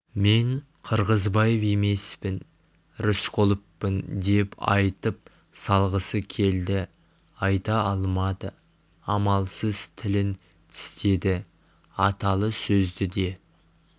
мен қырғызбаев емеспін рысқұловпын деп айтып салғысы келді айта алмады амалсыз тілін тістеді аталы сөзді де